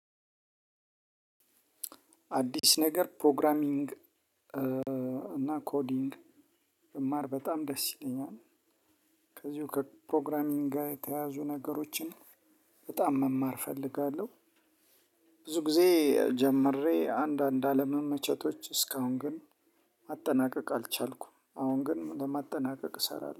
አዲስ ነገር ፕሮግራሚንግ እና ኮዲንግ ብማር በጣም ደስ ይለኛል። ከዚሁ ከፕሮግራሚንግ ጋር የተያያዙ ነገሮችን በጣም መማር እፈልጋለሁ። ብዙ ጊዜ ጀምሬ አንዳንድ አለመመቸቶች እስካሁን ግን ማጠናቀቅ አልቻልኩም። አሁን ግን ለማጠናቀቅ እሰራለሁ